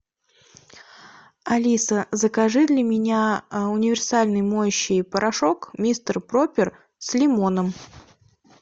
алиса закажи для меня универсальный моющий порошок мистер пропер с лимоном